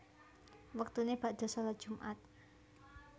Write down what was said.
Wektuné bakda shalat Jum at